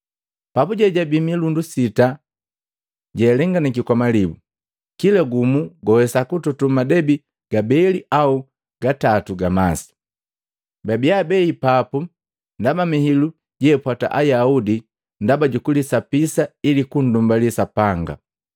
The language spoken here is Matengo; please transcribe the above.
Papuje jabii milundu sita jealenganaki kwa malibu, kila gumu gwawesa kutoto madebi gabeli au gatatu ga masi. Babia abei papu ndaba mihilu jeapwata Ayaudi ndaba jukulisapisa ili kundumbali Sapanga.